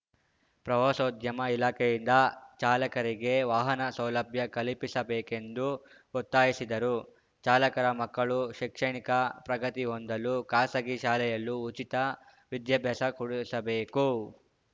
ಪ್ರವಾಸೋದ್ಯಮ ಇಲಾಖೆಯಿಂದ ಚಾಲಕರಿಗೆ ವಾಹನ ಸೌಲಭ್ಯ ಕಲಿಪಿಸಬೇಕು ಎಂದು ಒತ್ತಾಯಿಸಿದರು ಚಾಲಕರ ಮಕ್ಕಳು ಶೈಕ್ಷಣಿಕ ಪ್ರಗತಿ ಹೊಂದಲು ಖಾಸಗಿ ಶಾಲೆಯಲ್ಲೂ ಉಚಿತ ವಿದ್ಯಾಭ್ಯಾಸ ಕೊಡಿಸಬೇಕು